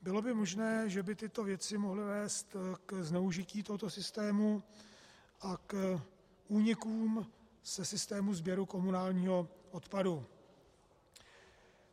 Bylo by možné, že by tyto věci mohly vést ke zneužití tohoto systému a k únikům ze systému sběru komunálního odpadu.